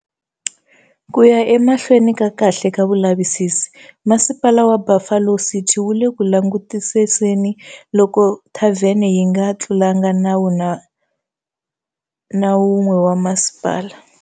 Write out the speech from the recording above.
Ku ya emahlweni ka kahle ka vulavisisi, Masipala wa Buffalo City wu le ku langutisiseni loko thavhene yi nga tlulanga nawu na wun'we wa masipala.